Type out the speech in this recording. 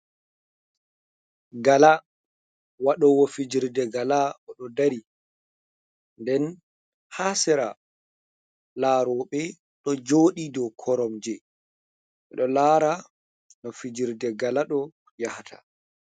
Gala, waɗowo fijirde gala, oɗo ɗari, nden ha sera laroɓe, do joɗi do koromje, ɓedo lara no fijirde gala ɗo yahata.